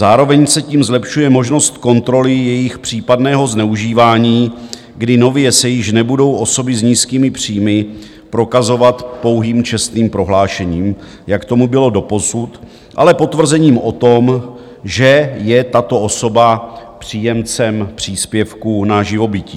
Zároveň se tím zlepšuje možnost kontroly jejich případného zneužívání, kdy nově se již nebudou osoby s nízkými příjmy prokazovat pouhým čestným prohlášením, jak tomu bylo doposud, ale potvrzením o tom, že je tato osoba příjemcem příspěvku na živobytí.